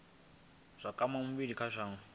zwa kwama vhulimi kha shango